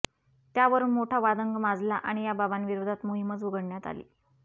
त्यावरुन मोठा वादंग माजला आणि या बाबांविरोधात मोहिमच उघडण्यात आली